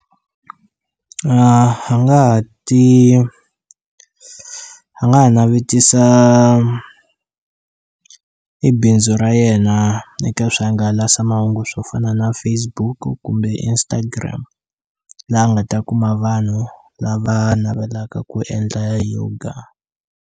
A nga ha ti a nga ha navetisa i bindzu ra yena eka swihangalasamahungu swo fana na Facebook-u kumbe Instagram laha a nga ta kuma vanhu lava navelaka ku endla yoga.